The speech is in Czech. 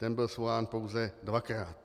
Ten byl svolán pouze dvakrát.